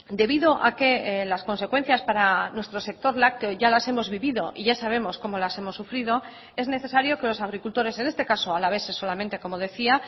debido a que las consecuencias para nuestro sector lácteo ya las hemos vivido y ya sabemos cómo las hemos sufrido es necesario que los agricultores en este caso alaveses solamente como decía